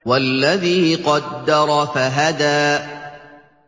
وَالَّذِي قَدَّرَ فَهَدَىٰ